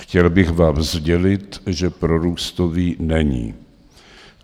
Chtěl bych vám sdělit, že prorůstový není.